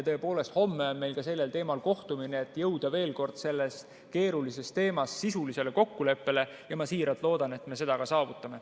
Tõepoolest, homme on meil ka sellel teemal kohtumine, et jõuda veel kord selles keerulises teemas sisulisele kokkuleppele, ja ma siiralt loodan, et me selle ka saavutame.